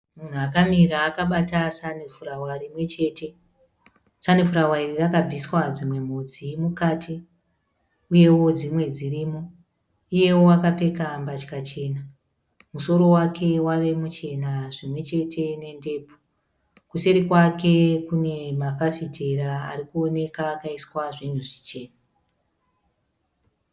Mumhu akamira akabata sanifurawa rimwe chete. Sanifurawa iri rakabviswa dzimwe mhodzi mukati, uyewo dzimwe dzirimo. Iyewo akapfeka mbatya chena. Musoro wake wave muchena zvimwe chete nendebvu . Kuseri kwake kune mafafitera ari kuoneka akaiswa zvinhu zvichena.